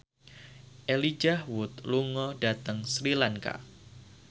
Elijah Wood lunga dhateng Sri Lanka